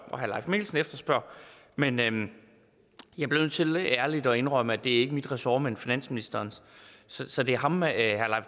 og herre leif mikkelsen efterspørger men men jeg bliver nødt til ærligt at indrømme at det ikke er mit ressort men finansministerens så det er ham herre